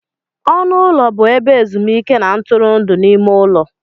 Ọnụ ụlọ bụ ebe ezumuike na ntụrụndụ n'ime ụlọ.